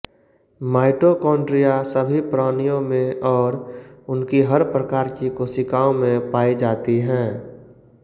mitochondria सभी प्राणियों में और उनकी हर प्रकार की कोशिकाओं में पाई जाती हैं